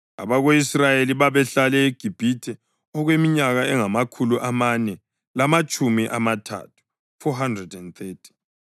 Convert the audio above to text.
Abako-Israyeli babehlale eGibhithe okweminyaka engamakhulu amane lamatshumi amathathu (430).